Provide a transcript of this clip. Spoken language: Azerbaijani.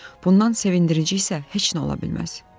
Bundan sevindirici isə heç nə ola bilməz.